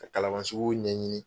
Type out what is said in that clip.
Ka Kalaban sugu ɲɛɲini